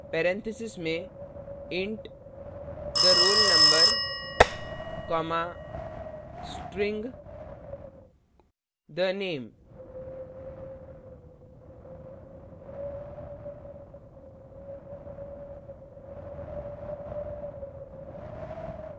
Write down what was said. parenthesis में int the _ roll _ number comma string the _ name